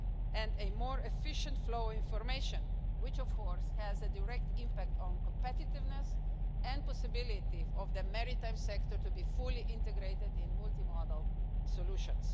and a more efficient flow of information, which, of course, has a direct impact on competitiveness and the possibility for the maritime sector to be fully integrated in multi modal solutions.